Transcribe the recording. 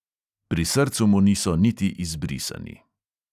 Pri srcu mu niso niti izbrisani.